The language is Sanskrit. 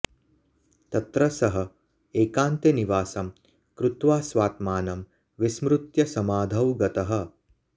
तत्र सः एकान्ते निवासं कृत्वा स्वात्मानं विस्मृत्य समाधौ गतः